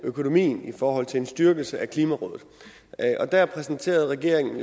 økonomien i forhold til en styrkelse af klimarådet der præsenterede regeringen